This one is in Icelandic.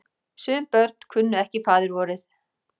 Sum börn kunnu ekki faðirvorið.